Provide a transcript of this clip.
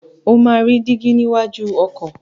O máa rí dígí níwájú ọkọ̀.